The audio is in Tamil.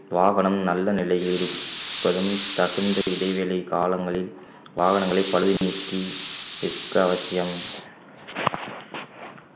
வாகனம் நல்ல நிலையில் இருப்பதும் தகுந்த இடைவெளி காலங்களில் வாகனங்களை பழுது நீக்கி நிற்க அவசியம்